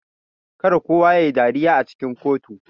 Kar kowa yayi dariya a cikin kotu.